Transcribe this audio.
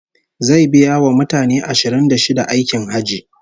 Zai biya wa mutane ashirin da shida aikin Hajji